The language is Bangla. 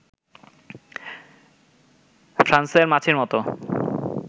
ফ্রাঁসের মাছির মতো